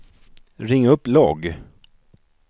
ring upp logg